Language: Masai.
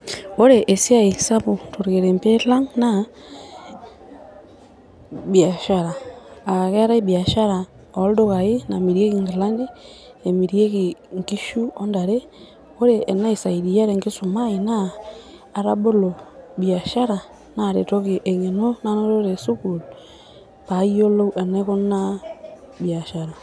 Ore esiai sapuk tornkerenget lang naa biashara . aa keetae biashara oldukai namirieki nkilani ,nemirieki nkishu ontare . ore enaisaidia tenkisuma ai naa atabolo biashara naretoki engeno nanoto tesukuul payiolou enaikunaa biashara.